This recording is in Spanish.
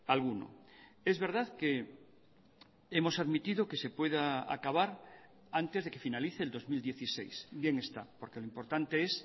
alguno es verdad que hemos admitido que se pueda acabar antes de que finalice el dos mil dieciséis bien está porque lo importante es